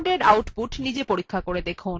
এই কমান্ডএর আউটপুট নিজে দেখুন